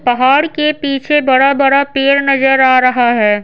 पहाड़ के पीछे बड़ा-बड़ा पेड़ नजर आ रहा है।